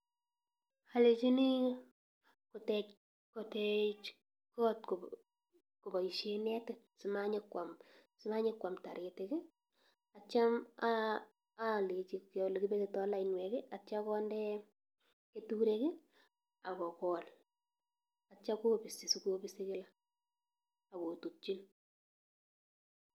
Alenyini kotech kot koboishien netit, simanyonkwam taritik. Ak yeityo alenyi aborchi olekibetitoo lainwek ak yeityo konder keturek ak kogool. Ak yeityo kobisi, sikobisi kila ak ko kotutyiin